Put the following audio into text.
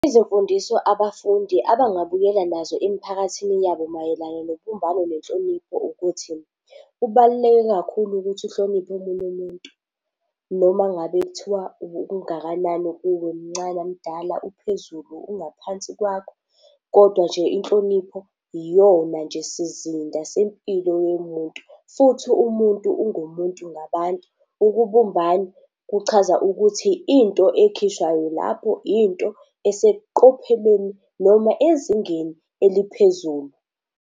Izimfundiso abafundi abangabuyela nazo emiphakathini yabo mayelana nobumbano nenhlonipho ukuthi kubaluleke kakhulu ukuthi uhloniphe omunye umuntu, noma ngabe kuthiwa ungakanani kuwe, mncane, mdala, uphezulu, ungaphansi kwakho. Kodwa nje inhlonipho iyona nje sizinda sempilo yomuntu futhi umuntu ngumuntu ngabantu. Ukubumbana kuchaza ukuthi into ekhishwayo lapho into eseqophelweni noma ezingeni eliphezulu.